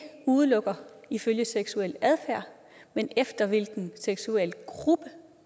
udelukker ifølge seksuel adfærd men efter hvilken seksuel gruppe